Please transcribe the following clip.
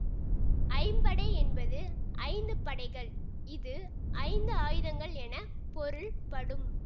ஐம்படை என்பது ஐந்து படைகள் இது ஐந்து ஆயுதங்கள் என பொருள் படும்